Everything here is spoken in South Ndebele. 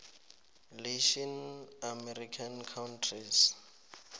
latin american countries